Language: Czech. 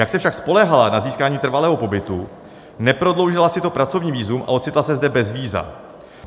Jak se však spoléhala na získání trvalého pobytu, neprodloužila si to pracovní vízum a ocitla se zde bez víza.